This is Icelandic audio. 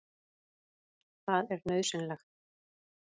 Það er nauðsynlegt.